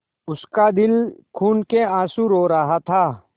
उसका दिल खून केआँसू रो रहा था